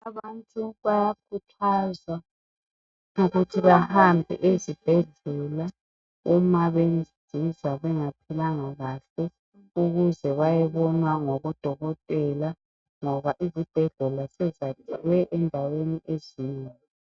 Abantu bayakhuthazwa ukuthi bahambe ezibhedlela uma bezizwa bengaphilanga kahle ukuze bayebonwa ngobodokotela ngoba izibhedlela sezakhelwe endaweni ezinengi